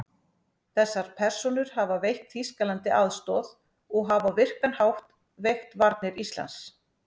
Þessar persónur hafa veitt Þýskalandi aðstoð og hafa á virkan hátt veikt varnir Íslands.